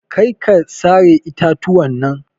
Karka sare itatuwan nan.